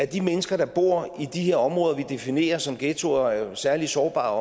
de mennesker der bor i de her områder vi definerer som ghettoer og som er særlig sårbare